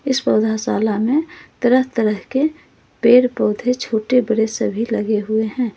इस पौधाशाला में तरह तरह के पेड़ पौधे छोटे बड़े सभी लगे हुए हैं।